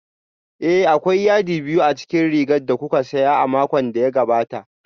Ee, akwai yadi biyu a cikin rigar da kuka siya a makon da ya gabata